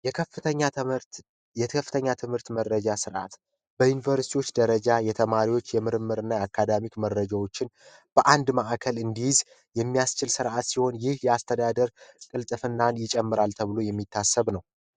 የከፍተኛ ትምህርት የከፍተኛ ትምህርት መረጃ ስርዓት በዩኒቨርሲቲዎች ደረጃ የተማሪዎች የምርምርና የአካዳሚ መረጃዎችን በአንድ ማዕከል እንዲይዝ የሚያስችል ስርአት ሲሆን ይህ ያስተዳደርናን ይጨምራል ተብሎ የሚታሰብ ነው